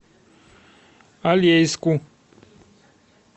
алейску